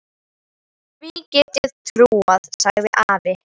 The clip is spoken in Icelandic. Því get ég trúað, sagði afi.